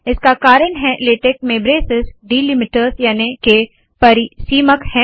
इसका कारण है लेटेक में ब्रेसेस डीलीमीटर्स याने के परिसीमक है